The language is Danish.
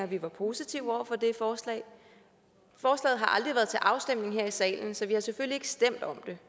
vi var positive over for det forslag forslaget har aldrig været til afstemning her i salen så vi har selvfølgelig ikke stemt om det